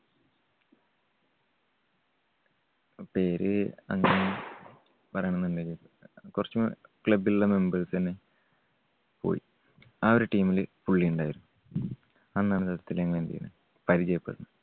പേര് കുറച്ച് club ലുള്ള members തന്നെ. പോയി. ആ ഒരു team ല് പുള്ളി ഉണ്ടായിരുന്നു. അന്നദ്ദേഹത്തിനെ ഞങ്ങളെന്ത് ചെയ്തു? പരിചയപെട്ടു.